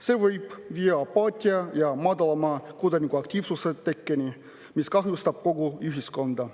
See võib viia apaatia tekkeni ja kodanikuaktiivsuse, mis kahjustab kogu ühiskonda.